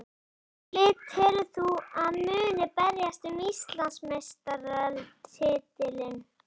Hvaða lið telur þú að muni berjast um Íslandsmeistaratitilinn?